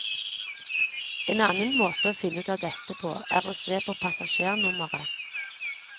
En annen måte å finne ut av dette på, er å se på passasjernummeret.